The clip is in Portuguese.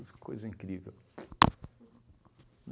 Mas que coisa incrível.